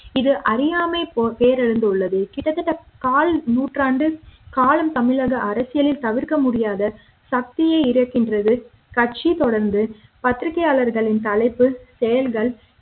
இது அறியாமை போன்று உள்ளது கிட்டத்தட்ட கால் நூற்றாண்டு காலம் தமிழக அரசியலில் தவிர்க்க முடியாத சக்தியாக இருக்கின்றது கட்சி தொடர்ந்து பத்திரிகையாளர்களின் தலைப்பு செயல்கள்